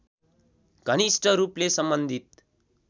घनिष्ट रूपले सम्बन्धित